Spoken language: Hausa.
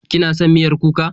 Kina son miyar kuka?